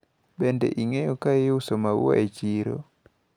Bende ing`eyo kaiuso maua e chiro?